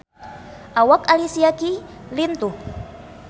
Awak Alicia Keys lintuh